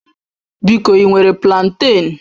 Biko ị nwere planten?